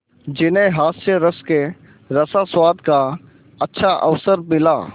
जिन्हें हास्यरस के रसास्वादन का अच्छा अवसर मिला